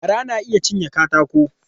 Gara na iya cinye katako.